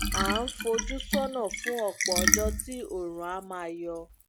a ń fojú sọnà fún ọpọ ọjọ tí oòrùn á máa yọ